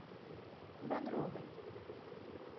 бодровой